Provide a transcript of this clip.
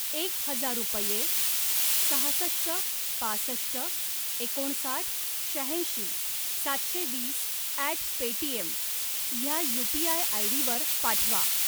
एक हजार रुपये सहासष्ट पासष्ट एकोणसाठ शहाऐंशी सातशे वीस ॲट पेटीएम ह्या यू.पी.आय. आयडी वर पाठवा.